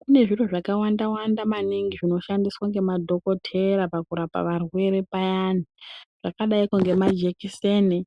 Kune zviro zvakawawanda naningi zvinoshandiswa ngemadhikhotera pakurapa varwere payani zvakadaiko ngemajekhiseni